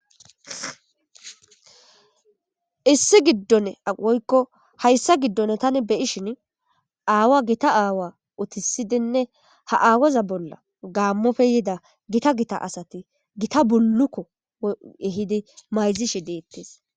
Issi giddon woykko hayssa giddone tani beyi shin aawa gita aawa utisidenne ha aawaza bolla gaammofe yida gita gita asati gita bullukko ehidi mayzishi deettes.